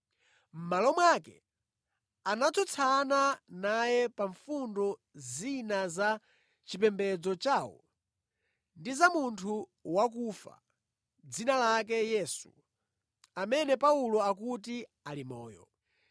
Mʼmalo mwake, anatsutsana naye pa fundo zina za chipembedzo chawo ndi za munthu wakufa, dzina lake Yesu, amene Paulo akuti ali moyo.